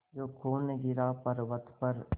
जो खून गिरा पवर्अत पर